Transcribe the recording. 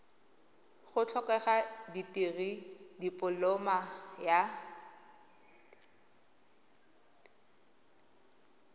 go tlhokega dikirii dipoloma ya